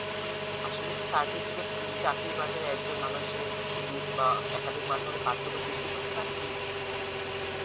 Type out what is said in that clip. আসলে কি certificate চাকরির বাজারে একজন মানুষ এর দু বা একাধিক পার্থক্য সৃষ্টি করতে পারে কি